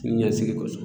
Ɲɛsigi kɔsɔ